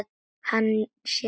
Hann sé naut.